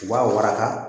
U b'a waraka